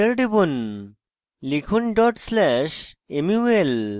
enter টিপুন লিখুন dot slash mul